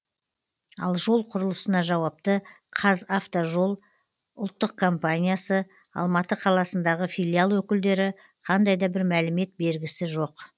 ал жол құрылысына жауапты қазавтожол ұлттық компаниясы алматы қаласындағы филиал өкілдері қандай да бір мәлімет бергісі жоқ